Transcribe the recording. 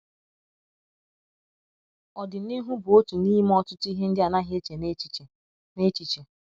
“ Ọdịnihu bụ otu n’ime ọtụtụ ihe ndị ọ naghị eche n’echiche. n’echiche. ”